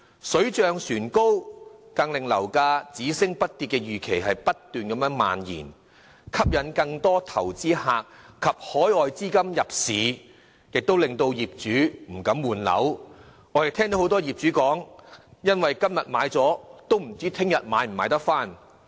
水漲船高，更令樓價只升不跌的預期不斷蔓延，吸引更多投資者及海外資金入市，亦令業主不敢換樓，因為很多業主都說，今天把樓賣出後，不知道明天能否買回來。